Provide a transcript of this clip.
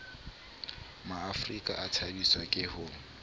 maafrika a thabiswa ke ho